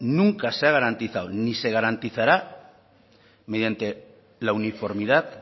nunca se ha garantizado ni se garantizará mediante la uniformidad